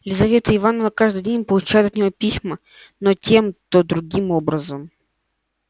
елизавета ивановна каждый день получала от него письма то тем то другим образом